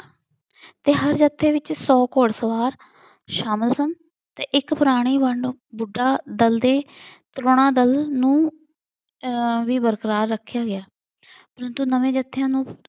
ਤੇ ਹਰ ਜੱਥੇ ਵਿੱਚ ਸੌ ਘੋੜ ਸਵਾਰ ਸ਼ਾਮਿਲ ਸਨ ਤੇ ਇੱਕ ਪੁਰਾਣੀ ਬੁੱਢਾ ਦਲ ਦੇ ਤਰੌਣਾ ਦਲ ਨੂੰ ਆਹ ਵੀ ਬਰਕਰਾਰ ਰੱਖਿਆ ਗਿਆ। ਪਰੰਤੂ ਨਵੇਂ ਜੱਥਿਆਂ ਨੂੰ